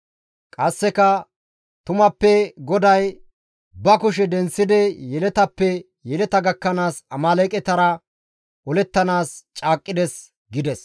Qasseka, «Tumappe GODAY ba kushe denththidi yeletappe yeleta gakkanaas Amaaleeqetara olettanaas caaqqides» gides.